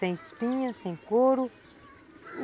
Sem espinha, sem couro.